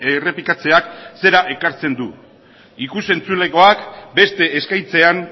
errepikatzeak zera ekartzen du ikus entzulegoak beste eskaintzean